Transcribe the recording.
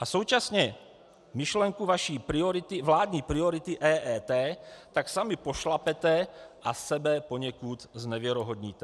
A současně myšlenku vaší vládní priority EET tak sami pošlapete a sebe poněkud znevěrohodnotíte.